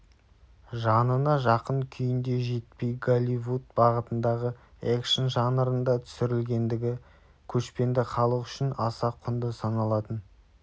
жанына жақын күйінде жетпей голливуд бағытындағы экшн жанрында түсірілгендігі көшпенді халық үшін аса құнды саналатын